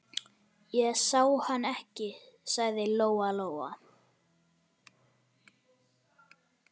Ég sá hann ekki, sagði Lóa Lóa.